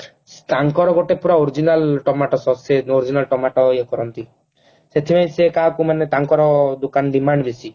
ତାଙ୍କର ଗୋଟେ ପୁରା original ଟମାଟ Sause ସେ original ଟମାଟ ଇଏ କରନ୍ତି ସେଥିରେ ସେ କାହାକୁ ମାନେ ତାଙ୍କର ଦୋକାନ demand ବେଶୀ